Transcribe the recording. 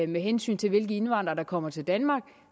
med hensyn til hvilke indvandrere der kommer til danmark